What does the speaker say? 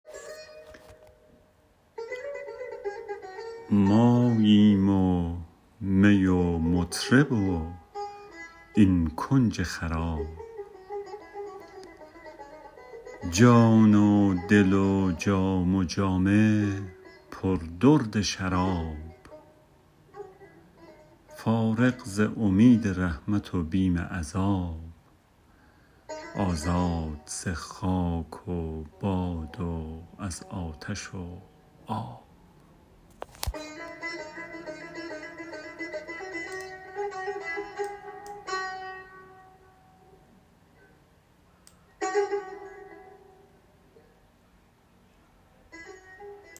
ماییم و می و مطرب و این کنج خراب جان و دل و جام و جامه پر درد شراب فارغ ز امید رحمت و بیم عذاب آزاد ز خاک و باد و از آتش و آب